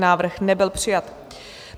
Návrh nebyl přijat.